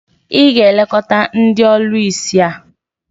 ị ga-elekọta ndị ọlụsị a?